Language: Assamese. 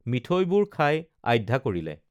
মিঠৈবোৰ খাই আধ্যা কৰিলে